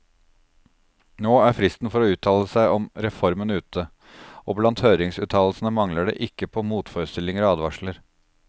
Nå er fristen for å uttale seg om reformen ute, og blant høringsuttalelsene mangler det ikke på motforestillinger og advarsler.